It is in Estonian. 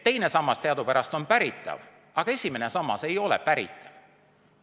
Teine sammas teadupärast on päritav, aga esimene sammas ei ole päritav.